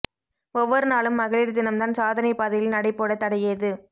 ஒவ்வொரு நாளும் மகளிர் தினம்தான் சாதனை பாதையில் நடை போட தடையேது